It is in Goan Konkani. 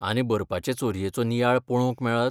आनी बरपाचे चोरयेचो नियाळ पळोवंक मेळत?